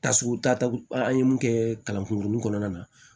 Tasuma ta an ye mun kɛ kalankunkurunin kɔnɔna na